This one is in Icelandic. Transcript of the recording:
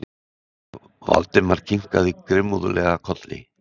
Valdimar kinkaði grimmúðlega kolli.